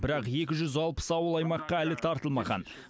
бірақ екі жүз алпыс ауыл аймаққа әлі тартылмаған